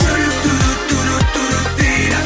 жүрек дейді